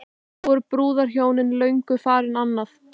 Þá voru brúðhjónin löngu farin annað.